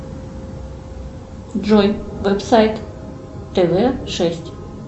джой веб сайт тв шесть